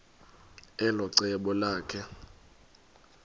elo cebo lakhe